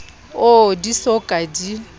oo di so ka di